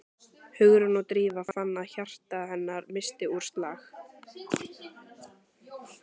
Hugrún og Drífa fann að hjarta hennar missti úr slag.